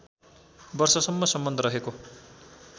वर्षसम्म सम्बन्ध रहेको